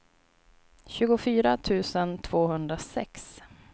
tjugofyra tusen tvåhundrasex